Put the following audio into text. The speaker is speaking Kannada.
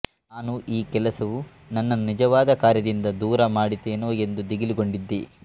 ನಾನು ಈ ಕೆಲಸವು ನನ್ನನ್ನು ನಿಜವಾದ ಕಾರ್ಯದಿಂದ ದೂರ ಮಾಡಿತೇನೋ ಎಂದು ದಿಗಿಲುಗೊಂಡಿದ್ದೆ